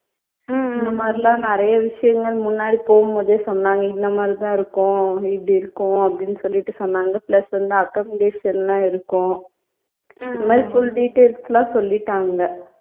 இந்த மாதிரியெல்லாம் நிறைய விஷயங்கள் முன்னாடி போகும்போதே சொன்னாங்க இந்த மாதிரி தான் இருக்கும் இப்படி இருக்கும் அப்படின்னு சொல்லிட்டு சொன்னாங்க plus வந்து accommodation லாம் இருக்கும் இந்த மாதிரி full details லாம் சொல்லிட்டாங்க